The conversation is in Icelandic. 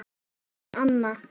Þórunn Anna.